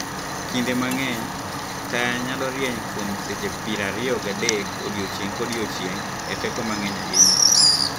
Kinde mang'eny, taya nyalo rieny kuom seche prariyo gi adek odiechieng' kodiechieng' e teko mang'eny ahinya.